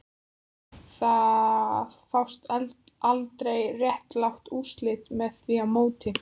Það fást aldrei réttlát úrslit með því móti